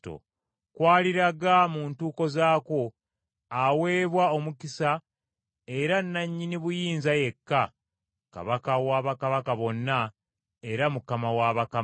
kw’aliraga mu ntuuko zaakwo, aweebwa omukisa era nnannyini buyinza yekka, Kabaka wa bakabaka bonna, era Mukama wa bakama,